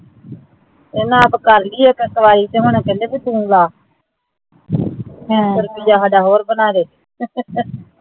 ਪਹਿਲਾ ਆਪ ਕਰ ਲਈ ਏ ਤੇ ਹੁਣ ਕੈਂਦੇ ਤੂੰ ਲੈ ਰੁਪਯਾ ਸਾਡਾ ਹੋਰ ਬਣਾ ਦੇ